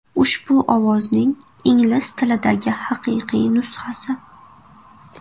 Ushbu ovozning ingliz tilidagi haqiqiy nusxasi.